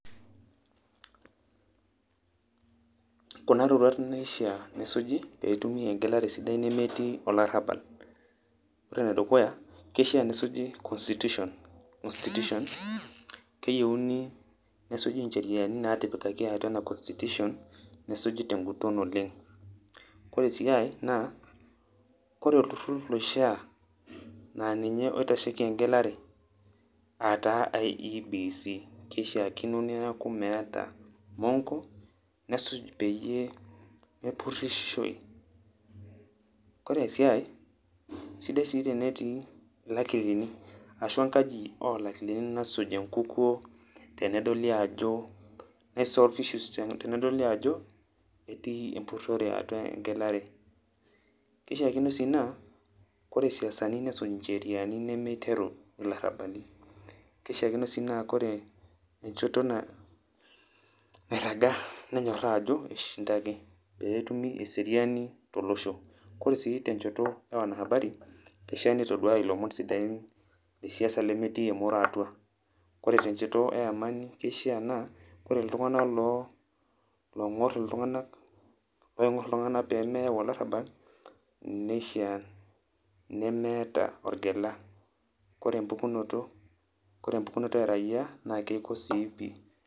kuna tokitin taa ishaa nesuji pee etumi eng'elare sidai nemetii olarabal, ore ene dukuya kishaa nesuji constitution, constitution keyeuni nesuji ncheriani natipikaki atua ena constitution, nesuji te ng'uton oleng'. Kore sii ai naa kore olturur loishaa naa ninye oitasheki eng'elare aa taa IEBC nishaakino neeku meeta mong'o nesuj peyie mepurishoi. Kore sii ai sidai sii tenetii ilakilini ashu enkaji olakilini nasuj enkukuo tenedoli ajo na solve issues tenedoli ajo etii empurore atua eng'elare. Kishaakino sii naa kore siasani nesuj ncheriani nemiteru ilarabali. Kishaakino sii naa kore enjoto nairaga nenyoraa ajo ishindaki pee etumi eseriani tolosho. Kore sii tenjoto e wanahabari kishaa nitoduaya ilomon sidain le siasa lemetii emoro atua. Kore te njoto e amani kishaa naa kore iltung'anak long'or iltung'anak paake eng'or iltung'anak pee meyau olarabal nishaa nemeeta orgela kore empukunoto kore empukunoto e raia naake iko sii pi..